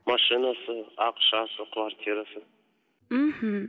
машинасы ақшасы квартирасы мхм